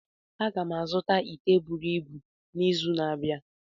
Aga m azụta ite buru ibu n'izu na-abịa